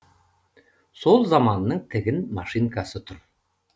сол заманның тігін машинкасы тұр